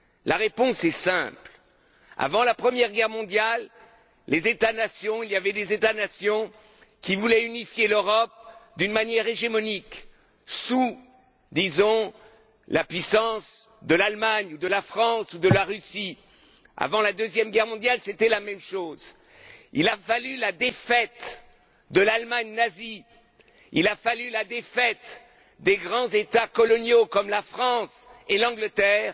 La réponse est simple. Avant la Première Guerre mondiale, il y avait des États nations qui voulaient unifier l'Europe d'une manière hégémonique sous disons la puissance de l'Allemagne, de la France ou de la Russie. Avant la Deuxième Guerre mondiale, c'était la même chose. Il a fallu la défaite de l'Allemagne nazie et celle des grands États coloniaux comme la France et l'Angleterre